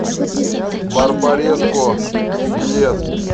барбареско билет